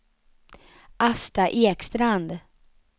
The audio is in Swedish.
Asta Ekstrand